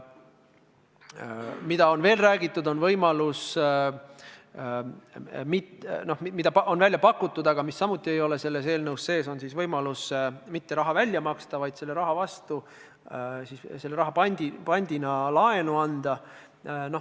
Mida on veel räägitud ja mida on välja pakutud, aga mida samuti ei ole selles eelnõus sees, on võimalus mitte raha välja maksta, vaid selle raha vastu, seda raha pandina kasutades laenu anda.